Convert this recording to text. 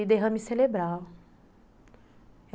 cerebral.